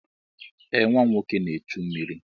Ee nwa m nwoke na-echu mmiri.